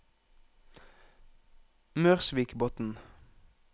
Mørsvikbotn